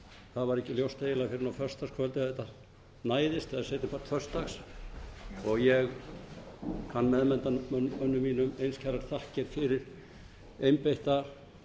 það var ekki ljóst fyrr en eiginlega á föstudagskvöldið að þetta næðist eða seinni part föstudags og ég kann meðnefndarmönnum mínum eins kærar þakkir fyrir einbeitta